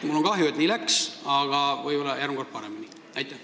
Mul on kahju, et nii läks, aga võib-olla läheb järgmine kord paremini.